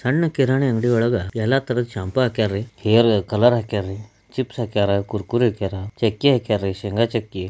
ಹಣ್ಣು ಕೀರನ್ ಅಂಗಡಿಯೊಳಗ ಎಲ್ಲ ತರದ ಶಂಪೋ ಹಾಕ್ಯರಿ ಹೇರ್ ಕಲರ್ ಹಾಕ್ಯಾರ ಚಿಪ್ಸ್ ಹಾಕ್ಯಾರ ಕುರ್ಕುರೆ ಹಾಕ್ಯಾರ ಚಕ್ಕೆ ಹಾಕ್ಯಾರ ಶೇಂಗಾ ಚಕ್ಕಿ.